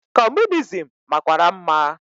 Comunizim makwara mma.